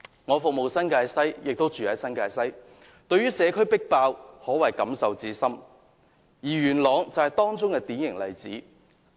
我服務新界西，亦居於新界西，對於社區爆滿可謂感受甚深，而元朗更是典型例子。